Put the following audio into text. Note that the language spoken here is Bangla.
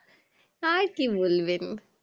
আর কি বলবেন